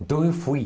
Então, eu fui.